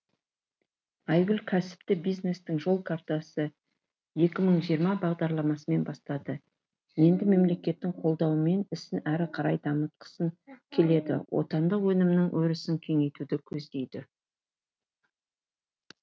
айгүл кәсіпті бизнестің жол картасы екі мың жиырма бағдарламасымен бастады енді мемлекеттің қолдауымен ісін әрі қарай дамытқысы келеді отандық өнімнің өрісін кеңейтуді көздейді